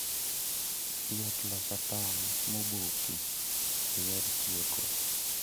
Yot loso tong' moboki e yor chweko